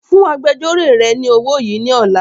Fún agbẹjọ́ró rẹ ni owó yìí ni ọ̀la!